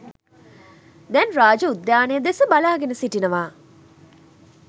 දැන් රාජ උද්‍යානය දෙස බලාගෙන සිටිනවා.